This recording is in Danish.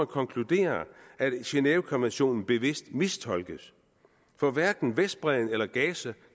konkludere at genèvekonventionen bevidst mistolkes for hverken vestbredden eller gaza